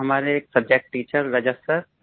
जी हमारे एक subject teacher Rajat sir